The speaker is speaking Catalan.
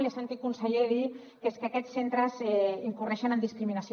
l’he sentit conseller dir que és que aquests centres incorren en discriminació